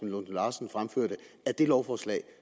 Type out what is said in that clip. lunde larsen fremførte af det lovforslag